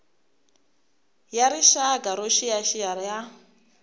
ya rixaka yo xiyaxiya ya